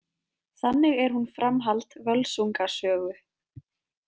Þannig er hún framhald Völsunga sögu.